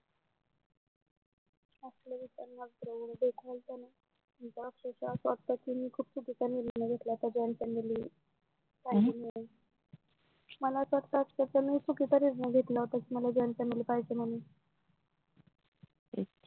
मला अक्षरशः असं वाटत खूप चुकीचा निर्यय घेतला कि मला joint family आ मला असा वाटतं अक्षरशः मी चुकीचा निर्णय घेतला होता joint family पाहिजे म्हणून